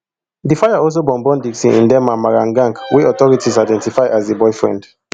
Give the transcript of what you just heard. di fire also burn burn dickson ndiema marangach wey authorities identify as di boyfriend